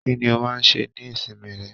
Kínní o máa n ṣe ní ìsinmi rẹ?